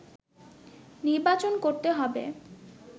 নির্বাচন করতে হবে”